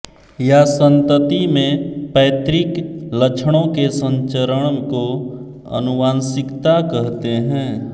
या संतति मैं पैतृक लक्षणों के संचरण को आनुवांशिकता कहते हैं